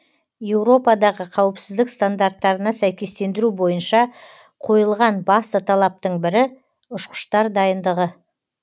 еуропадағы қауіпсіздік стандарттарына сәйкестендіру бойынша қойылған басты талаптың бірі ұшқыштар дайындығы